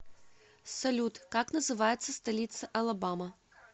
салют как называется столица алабама